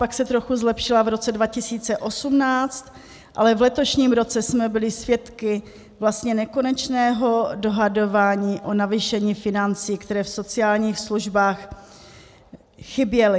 Pak se trochu zlepšila v roce 2018, ale v letošním roce jsme byli svědky vlastně nekonečného dohadování o navýšení financí, které v sociálních službách chyběly.